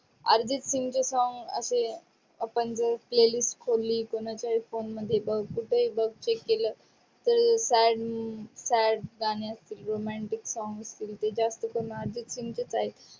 अर्जित सिंगचे song असे आपण जे playlist खोल्ली ते नंतर